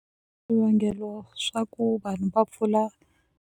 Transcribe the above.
Swivangelo swa ku vanhu va pfula.